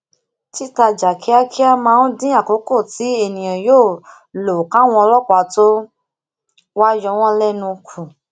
titajà kíákíá maa n din akoko ti eniyan yoo lo káwọn ọlópàá to wa yowon lenu ku